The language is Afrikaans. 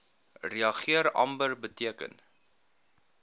reageer amber beteken